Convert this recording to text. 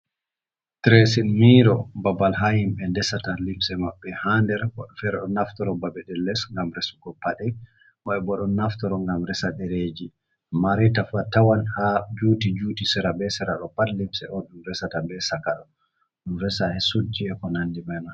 Direesin miiro babal haa himɓe ndesata limse maɓɓe haa nder. Woɓɓe feere ɗo naftoro babe ɗe les ngam resugo paɗe .Woɓɓe bo ɗo naftoro ngam resa ɗereeji. Mani tawan haa juuti juuti ,sera be sera ɗo pat limse on, ɗum resata be caka ɗum resa e suudji e konandi man.